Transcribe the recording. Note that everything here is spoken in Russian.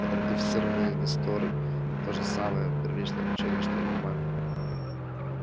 эти модифицированные несторы то же самое первичное обучение что и нормальные